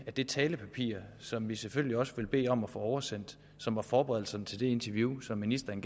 de talepapirer som vi selvfølgelig også vil bede om at få oversendt og som var forberedelserne til det interview som ministeren